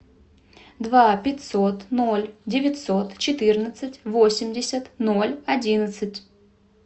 два пятьсот ноль девятьсот четырнадцать восемьдесят ноль одиннадцать